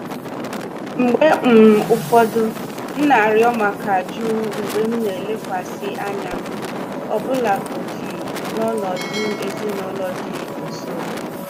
Mgbe um ụfọdụ, m na-arịọ maka jụụ mgbe m na-elekwasị anya, ọbụlagodi n'ọnọdụ ezinụlọ dị nso.